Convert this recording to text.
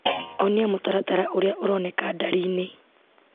Onia mũtaratara ũrĩa ũronekana ndari-inĩ.